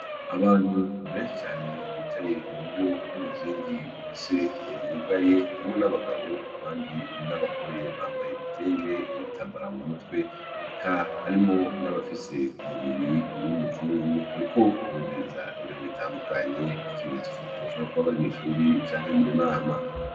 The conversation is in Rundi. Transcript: Abantu beshi cane bicaye mu buryo bw'umuzingi uhese wugaye umwana w'abagabo abandi n'abagore bambaye ibitenge ibitambara mu mutwe eka harimwo n'abafise umubiri w'umuzungu uruko wumviriza ibintu bitandukanye nkikimenyetso cuko bashobora kuba bari mw'ishuri canke mu nama .